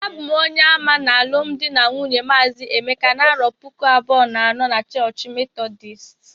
abum onye ama na alụmdi na nwunye mazi emeka na arọ puku abụọ na anọ n 'chọọch Methodist